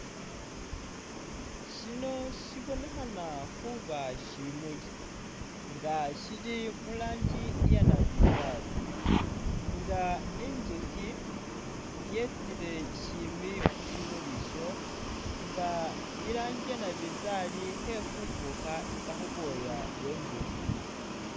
Shino shibonekhana khuba nga shimuuli nga shili muranji iye nabinzari nga inzukhi yetsile shimbi khushimuli isho nga iranji iye nabinzari khefufukha itsa khubwoya bwe nzukhi.